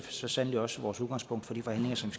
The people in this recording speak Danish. så sandelig også vores udgangspunkt for de forhandlinger som